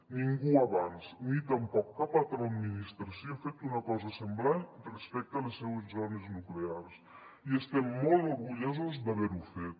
ningú abans ni tampoc cap altra administració ha fet una cosa semblant respecte a les seues zones nuclears i estem molt orgullosos d’haver ho fet